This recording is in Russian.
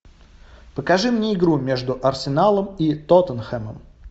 покажи мне игру между арсеналом и тоттенхэмом